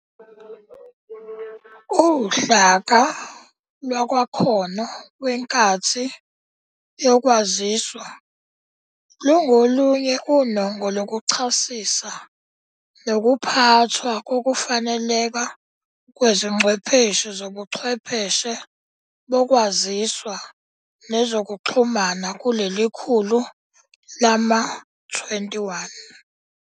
UHlaka lwakaKhono weNkathi yoKwaziswa lungolunye unongo lokuchazisa nokuphathwa kokufaneleka kwezingcwepheshi zlbuchwepheshe bokwaziswa nezokuxhumana kuleli khulu lama-21.